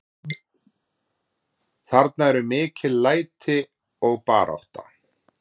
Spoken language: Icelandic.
Það eru mikil læti og barátta.